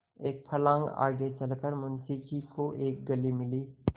एक फर्लांग आगे चल कर मुंशी जी को एक गली मिली